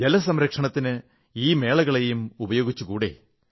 ജലസംരക്ഷണത്തിന് ഈ മേളകളേയും ഉപയോഗിച്ചുകൂടേ